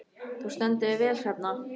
Þú stendur þig vel, Hrefna!